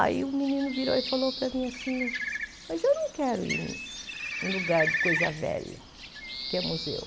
Aí o menino virou e falou para mim assim, mas eu não quero ir em lugar de coisa velha, que é museu.